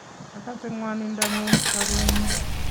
Agase gwanindo nengung, chorwenyu